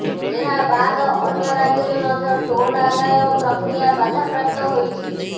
ଏହାବାଦ ଅନ୍ୟ ରାଜ୍ୟରେ ମଧ୍ୟ ଟୋଲ ଆଦାୟ ପ୍ରକ୍ରିୟା ବାଧାପ୍ରାପ୍ତ ହୋଇଛି